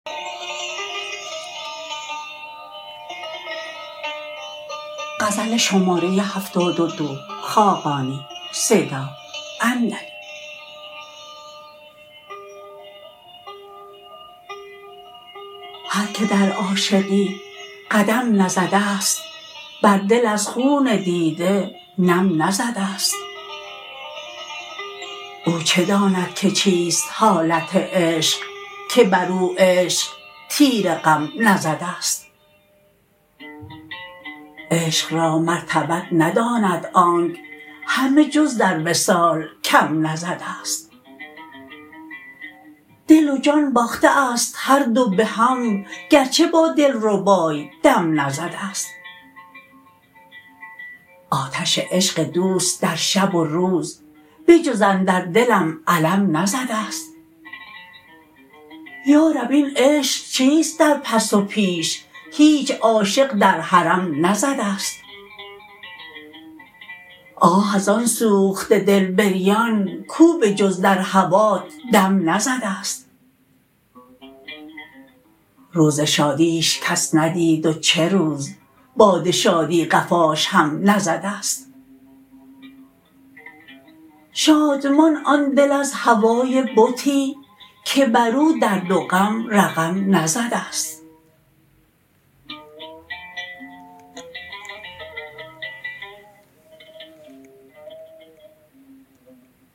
هر که در عاشقی قدم نزده است بر دل از خون دیده نم نزده است او چه داند که چیست حالت عشق که بر او عشق تیر غم نزده است عشق را مرتبت نداند آنک همه جز در وصال کم نزده است دل و جان باخته است هر دو به هم گرچه با دل ربای دم نزده است آتش عشق دوست در شب و روز بجز اندر دلم علم نزده است یارب این عشق چیست در پس و پیش هیچ عاشق در حرم نزده است آه از آن سوخته دل بریان کو به جز در هوات دم نزده است روز شادیش کس ندید و چه روز باد شادی قفاش هم نزده است شادمان آن دل از هوای بتی که بر او درد و غم رقم نزده است